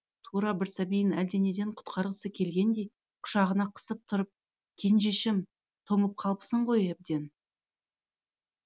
тура бір сәбиін әлденеден құтқарғысы келгендей құшағына қысып тұрып кенжешім тоңып қалыпсың ғой әбден